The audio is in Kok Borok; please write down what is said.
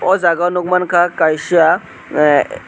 o jaga o nogmangka kaisa aah.